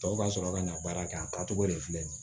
Tɔw ka sɔrɔ ka na baara kɛ a taacogo de filɛ nin ye